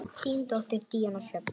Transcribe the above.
Þín dóttir, Díana Sjöfn.